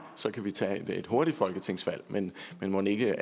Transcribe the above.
så kan vi tage et hurtigt folketingsvalg men mon ikke